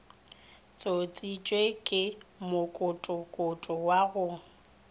tsošitšwe ke mokokoto wa go